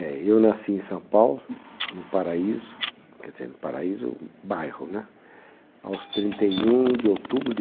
Eu nasci em São Paulo, no Paraíso, quer dizer, no Paraíso, bairro né, aos trinta e um de outubro de